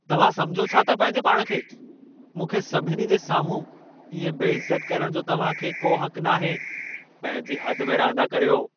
तव्हां समिझो छा था पंहिंजे पाण खे? मूंखे सभिनी जे साम्हूं इएं बेइज़त करण जो तव्हां खे को हक़ नाहे। पंहिंजी हद में रहंदा करियो।